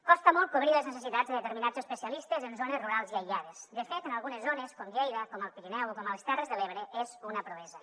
costa molt cobrir les necessitats de determinats especialistes en zones rurals i aïllades de fet en algunes zones com lleida com el pirineu o com les terres de l’ebre és una proesa